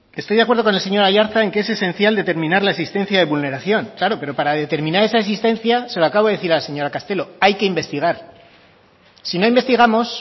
estoy de acuerdo con el señor aiartza en que es esencial determinar la existencia de vulneración claro pero para determinar esa existencia se lo acabo de decir a la señora castelo hay que investigar si no investigamos